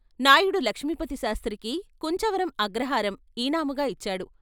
నాయుడు లక్ష్మీపతి శాస్త్రికి కుంచవరం అగ్రహారం ఇనాముగా ఇచ్చాడు.